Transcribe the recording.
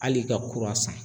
Hali ka kuran san.